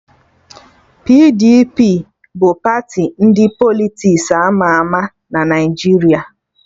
PDP bụ party ndị Politiks ama ama na Naijiria